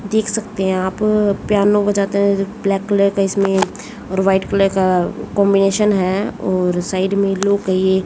देख सकते हैं आप पियानो बजाते हैं ब्लैक कलर का इसमें और वाइट कलर का कंबीनेशन है और साइड में लोग है ये--